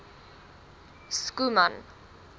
schoeman